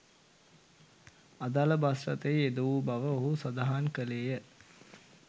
අදාළ බස් රථය යෙදවූ බව ඔහු සදහන් කළේය.